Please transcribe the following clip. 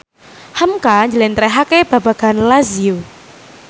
hamka njlentrehake babagan Lazio